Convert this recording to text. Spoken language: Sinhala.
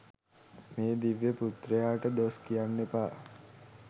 මේ දිව්‍ය පුත්‍රයාට දොස් කියන්න එපා.